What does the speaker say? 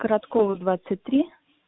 короткова двадцать три